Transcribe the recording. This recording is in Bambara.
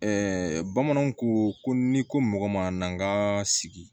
bamananw ko ko n'i ko mɔgɔ ma n'an ka sigi